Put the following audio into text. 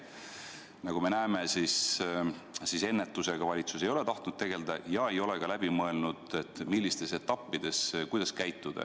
Nagu me näeme, ennetusega valitsus ei ole tahtnud tegelda ja ei ole ka läbi mõelnud, kuidas mis etapis käituda.